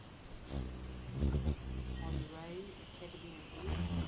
honorary academy award